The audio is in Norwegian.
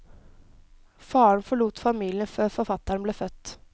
Faren forlot familien før forfatteren ble født.